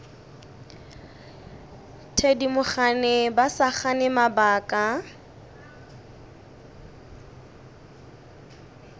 thedimogane ba sa gane mabaka